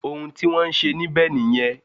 Òun tí wọ́n ń ṣe níbẹ̀ nìyẹn